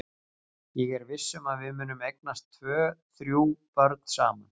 Ég er viss um að við munum eignast tvö þrjú börn saman.